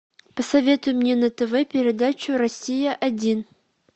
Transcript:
посоветуй мне на тв передачу россия один